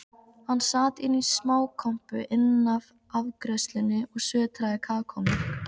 Hann sat inní smákompu innaf afgreiðslunni og sötraði kakómjólk.